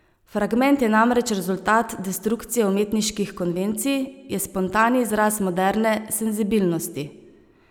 Fragment je namreč rezultat destrukcije umetniških konvencij, je spontani izraz moderne senzibilnosti.